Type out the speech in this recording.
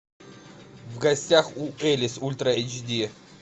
в гостях у элис ультра эйч ди